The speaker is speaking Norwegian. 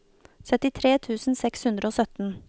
syttitre tusen seks hundre og sytten